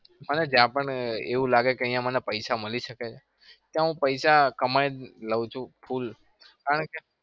અને જ્યાં પણ એવું લાગે કે અહિયાં મને પૈસા મળી શકે છે ત્યાં હું પૈસા કમાઈ લઉં છું. full કારણ કે